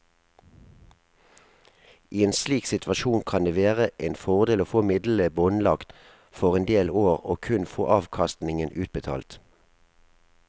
I en slik situasjon kan det være en fordel å få midlene båndlagt for en del år og kun få avkastningen utbetalt.